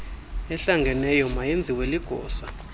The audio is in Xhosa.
ehlangeneyo mayenziwe ligosa